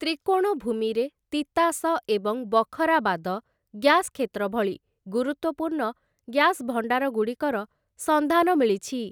ତ୍ରିକୋଣଭୂମିରେ, ତିତାସ ଏବଂ ବଖରାବାଦ ଗ୍ୟାସ୍‌ କ୍ଷେତ୍ର ଭଳି ଗୁରୁତ୍ୱପୂର୍ଣ୍ଣ ଗ୍ୟାସ୍‌ ଭଣ୍ଡାରଗୁଡ଼ିକର ସନ୍ଧାନ ମିଳିଛି ।